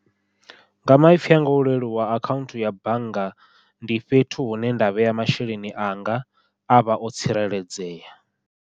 Nga maipfhi a nga o u leluwa akhaunthu ya bannga ndi fhethu hune nda vhea masheleni anga a vha o tsireledzea.